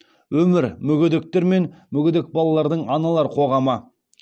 өмір мүгедектер мен мүгедек балалардың аналар қоғамы